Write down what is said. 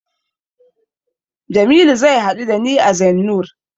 Jamilu zai haɗu da ni a Zennoor.